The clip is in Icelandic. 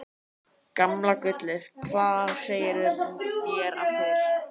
Gamla gullið, hvað segirðu mér af þér?